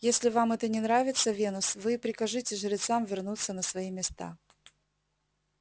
если вам это не нравится венус вы и прикажите жрецам вернуться на свои места